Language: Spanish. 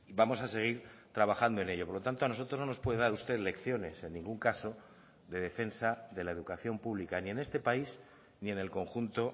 vamos a seguir trabajando en ello por lo tanto a nosotros no nos puede dar usted lecciones en ningún caso de defensa de la educación pública ni en este país ni en el conjunto